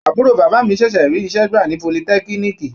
Àbúrò bàbá mi ṣẹ̀ṣẹ̀ rí iṣẹ́ gbà sí politẹ́kíníìkì.